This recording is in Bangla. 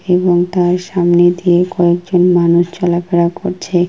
এবং তার সামনে দিয়ে কয়েক জন মানুষ চলা ফেরা করছে।